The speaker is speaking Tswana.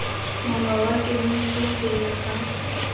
mongwe wa kemiso pele ga